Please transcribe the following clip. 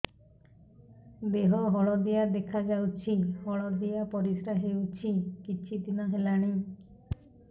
ଦେହ ହଳଦିଆ ଦେଖାଯାଉଛି ହଳଦିଆ ପରିଶ୍ରା ହେଉଛି କିଛିଦିନ ହେଲାଣି